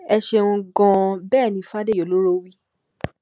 ẹ ṣeun gan-an bẹ́ẹ̀ ni fádèyí ọlọ́rọ́ wí